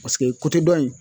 Paseke dɔ in